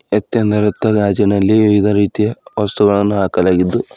ಎತ್ತೇಂದರತ್ತ ಗಾಜಿನಲ್ಲಿ ವಿವಿಧ ರೀತಿಯ ವಸ್ತುಗಳನ್ನ ಹಾಕಲಾಗಿದ್ದು--